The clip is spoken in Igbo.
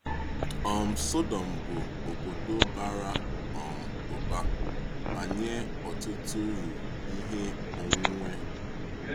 um Sọdọ̀m bụ obodo bara um ụba ma nye ọtụtụ uru ihe onwunwe.